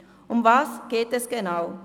Worum geht es genau?